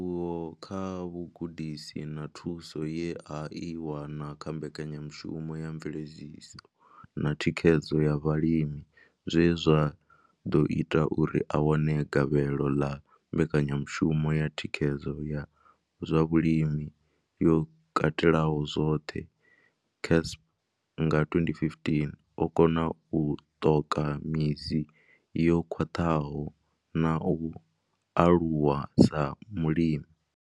Ndivhuwo kha vhugudisi na thuso ye a i wana kha mbekanyamushumo ya mveledziso na thikhedzo ya vhalimi zwe zwa ḓo ita uri a wane gavhelo ḽa mbekanyamushumo ya thikhedzo ya zwa vhulimi yo katelaho zwoṱhe CASP nga 2015, o kona u ṱoka midzi yo khwaṱhaho na u aluwa sa mulimi.